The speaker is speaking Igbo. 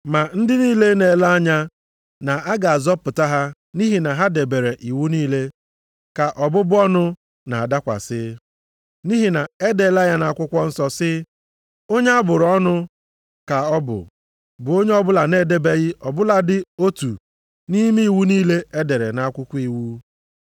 Ma ndị niile na-ele anya na a ga-azọpụta ha nʼihi na ha debere iwu niile, ka ọbụbụ ọnụ na-adakwasị. Nʼihi na e deela ya nʼakwụkwọ nsọ sị, “Onye a bụrụ ọnụ ka ọ bụ, bụ onye ọbụla na-edebeghị ọ bụladị otu nʼime iwu niile e dere nʼakwụkwọ iwu.” + 3:10 \+xt Dit 27:26\+xt*